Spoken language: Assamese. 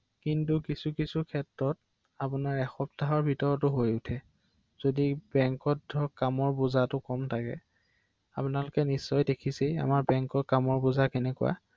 হয় হয়